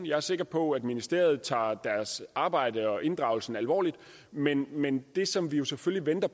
jeg er sikker på at ministeriet tager deres arbejde og inddragelsen alvorligt men men det som vi vi selvfølgelig venter